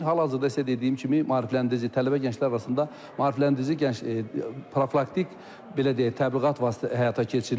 Hal-hazırda isə dediyim kimi maarifləndirici tələbə gənclər arasında maarifləndirici gənc profilaktik belə deyək təbliğat həyata keçirilir.